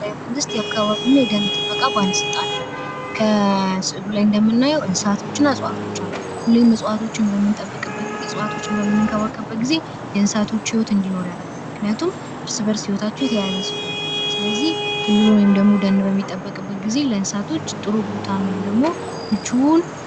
የአማራ ብሄራዊ ክልል መንግስት የአከባቢ ደን ጥበቃ ባለስልጣን ፤ ከስ እያሉ ላይ እንደምናየው እጽዋቶች እና ደኖች ይታዩናል ፤ ስለዚህ ሁሌም እጽዋቶችን በተንከባከብን እና በጠበቅን